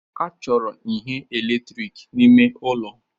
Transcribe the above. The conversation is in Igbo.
A chọrọ ihe eletrik n'ime ụlọ